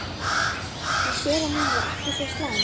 Hún sér að hún er ekki svo slæm.